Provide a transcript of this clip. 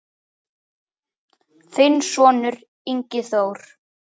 Þinn sonur, Ingi Þór.